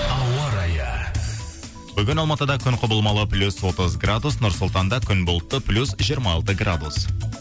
ауа райы бүгін алматыда күн құбылмалы плюс отыз градус нұр сұлтанда күн бұлтты плюс жиырма алты градус